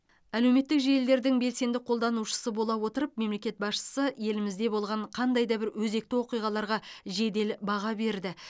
әлеуметтік желілердің белсенді қолданушысы бола отырып мемлекет басшысы елімізде болған қандай да бір өзекті оқиғаларға жедел баға берді